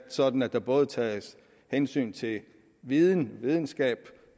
sådan at der både tages hensyn til videnskab